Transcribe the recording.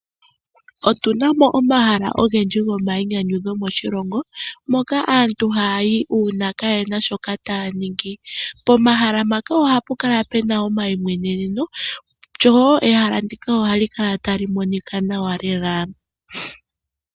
Otunamo omahala ogendji gomainyanyudho moshilomoka aantu haya yi uuna kayena shoka taya ningi. Pomahala mpaka ohapu kala pena omaimweneneno lyo ehala ndika ohali kala tali monika nawa lela.